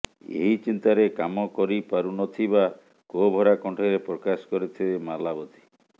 ଏହି ଚିନ୍ତାରେ କାମ କରିପାରୁନଥିବା କୋହଭରା କଣ୍ଠରେ ପ୍ରକାଶ କରିଥିଲେ ମାଲାବତୀ